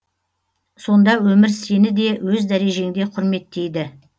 сонда өмір сеніде өз дәрежеңде құрметейді